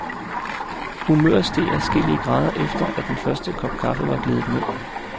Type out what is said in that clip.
Humøret steg adskillige grader efter, at den første kop kaffe var gledet ned.